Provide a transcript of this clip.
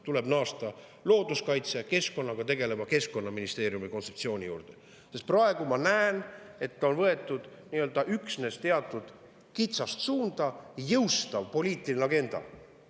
Tuleb naasta looduskaitse ja keskkonnaga tegeleva keskkonnaministeeriumi kontseptsiooni juurde, sest ma näen, et praegu on Kliimaministeeriumis võetud aluseks üksnes teatud kitsast suunda jõustav poliitiline agenda.